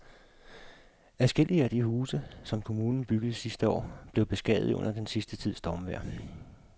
Adskillige af de huse, som kommunen byggede sidste år, er blevet beskadiget under den sidste tids stormvejr.